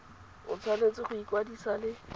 o tshwanetse go ikwadisa le